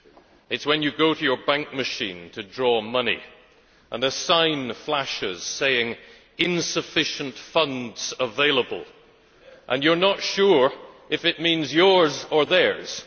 It is when you go to your bank machine to withdraw money and a sign flashes saying Insufficient funds available' and you are not sure if it means yours or theirs!